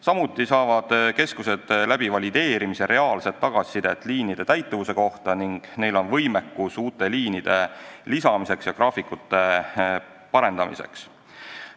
Samuti saavad keskused valideerimise kaudu reaalset tagasisidet liinide täitumuse kohta ning neil on võimekus uute liinide lisamiseks ja graafikute parandamiseks.